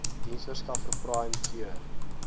diensverskaffer prime cure